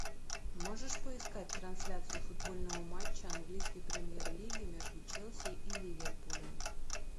можешь поискать трансляцию футбольного матча английской премьер лиги между челси и ливерпулем